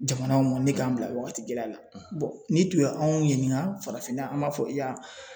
Jamana ma ni k'an bila wagati gɛlɛya la ni tun ye anw ɲininkga farafinna yan an b'a fɔ yan